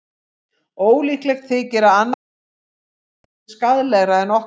Ólíklegt þykir að annarra þjóða neftóbak sé skaðlegra en okkar.